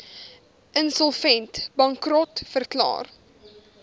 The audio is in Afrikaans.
insolvent bankrot verklaar